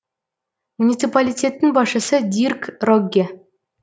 муниципалитеттің басшысы дирк рогге